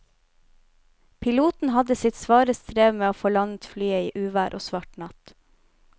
Piloten hadde sitt svare strev med å få landet flyet i uvær og svart natt.